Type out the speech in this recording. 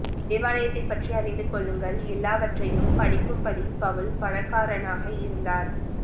தேவாலயத்தைப் பற்றி அறிந்து கொள்ளுங்கள் எல்லாவற்றையும் பணிக்கும்படி பவுல் பணக்காரனாக இருந்தார்